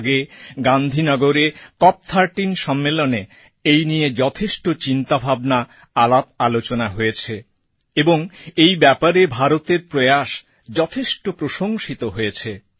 আগে গান্ধীনগরে COP thirteen সম্মেলনে এই নিয়ে যথেষ্ট চিন্তাভাবনা আলাপআলোচনা হয়েছে এবং এই ব্যাপারে ভারতের প্রয়াস যথেষ্ট প্রশংসিতও হয়েছে